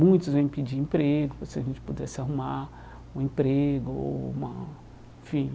Muitos vêm pedir emprego, se a gente pudesse arrumar um emprego ou uma, enfim.